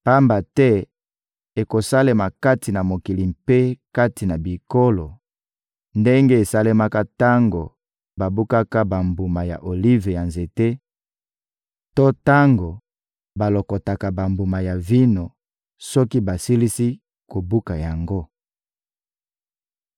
Pamba te ekosalema kati na mokili mpe kati na bikolo ndenge esalemaka tango babukaka bambuma ya olive na nzete to tango balokotaka bambuma ya vino soki basilisi kobuka yango.